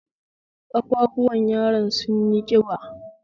Kafafuwan yaron sun yi ƙiba